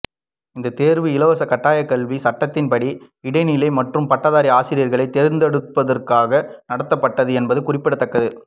இந்த தேர்வு இலவச கட்டாயக்கல்வி சட்டத்தின்படி இடைநிலை மற்றும் பட்டதாரி ஆசிரியர்களை தேர்ந்தெடுப்பதற்காக நடத்தப்பட்டது என்பது குறிப்பிடத்தக்கது